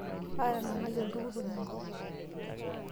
Aatanang'ayie oltukutuk enkop.